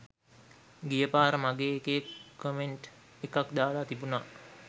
ගියපාර මගේ එකේ කොමෙන්ට් එකක් දාලා තිබුනා